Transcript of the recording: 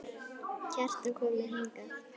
Kjartan kom hingað.